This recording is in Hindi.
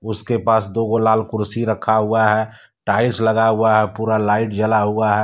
उसके पास दो गो लाल कुर्सी रखा हुआ है टाइल्स लगा हुआ है पूरा लाइट जला हुआ है।